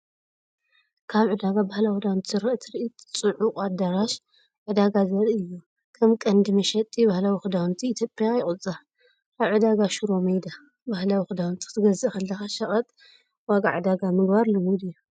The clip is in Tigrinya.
ካብ ዕዳጋ ባህላዊ ክዳውንቲ ዝረአ ትርኢት። ጽዑቕ ኣዳራሽ ዕዳጋ ዘርኢ እዩ፤ ከም ቀንዲ መሸጢ ባህላዊ ክዳውንቲ ኢትዮጵያ ይቑጸር። ኣብ ዕዳጋ ሽሮ ሜዳ ባህላዊ ክዳውንቲ ክትገዝእ ከለኻ ሸቐጥ (ዋጋ ዕዳጋ) ምግባር ልሙድ ድዩ?